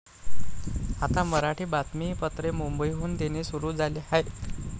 आता मराठी बातमीपत्रे मुंबईहून देणे सुरु झाले आहे.